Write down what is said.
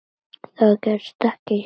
Það gerist ekki hér.